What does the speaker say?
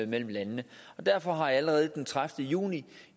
mellem landene derfor har jeg allerede den tredivete juni